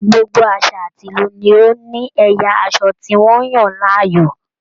Gbogbo àṣà àti ìlú ni ó ní ẹ̀yà aṣọ tí wọ́n yàn láàyò